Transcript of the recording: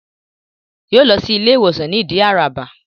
Yóò lọ sí Ilé ìwé ìwòsàn ní Ìdí Àràbà